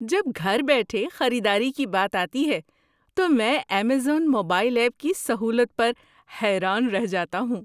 جب گھر بیٹھے خریداری کی بات آتی ہے تو میں ایمیزون موبائل ایپ کی سہولت پر حیران رہ جاتا ہوں۔